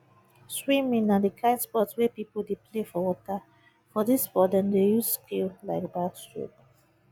swimming na di kind sport wey pipo dey play for water for this sport dem dey use skill like backstroke